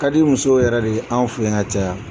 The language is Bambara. Kadi musow yɛrɛ de ye an fɛ ka caya